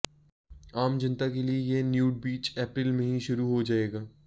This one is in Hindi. आम जनता के लिए यह न्यूड बीच अप्रैल में ही शुरू हो जाएगा